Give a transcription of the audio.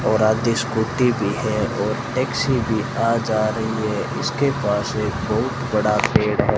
और आगे स्कूटी भी है और टैक्सी भी आ जा रही है इसके पास एक बहुत बड़ा पेड़ है।